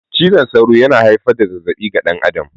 Cizon sauro yana haifar da zazzabi ga dan adam